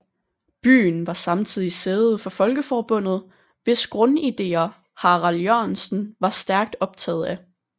Byen var samtidig sæde for Folkeforbundet hvis grundidéer Harald Jørgensen var stærkt optaget af